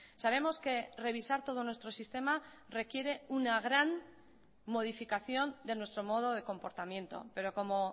sabemos que revisar todo nuestro sistema requiere una gran modificación de nuestro modo de comportamiento pero como